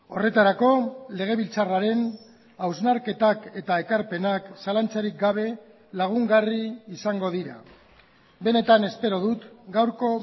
horretarako legebiltzarraren hausnarketak eta ekarpenak zalantzarik gabe lagungarri izango dira benetan espero dut gaurko